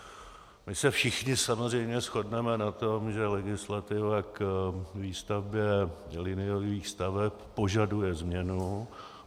My se všichni samozřejmě shodneme na tom, že legislativa k výstavbě liniových staveb požaduje změnu.